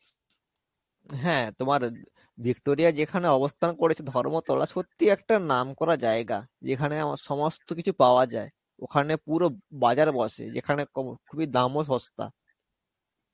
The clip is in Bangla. হ্যাঁ, তোমার Victoria যেখানে অবস্থান করেছে ধর্মতলা সত্যি একটা নাম করা জায়গা. যেখানে আবার সমস্ত কিছু পাওয়া যায়. ওখানে পুরো বাজার বসে. এখানে দামও সস্তা.